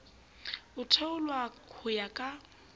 a theolwa ho ya ka